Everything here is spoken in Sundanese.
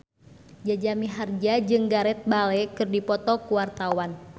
Jaja Mihardja jeung Gareth Bale keur dipoto ku wartawan